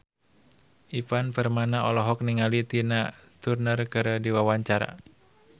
Ivan Permana olohok ningali Tina Turner keur diwawancara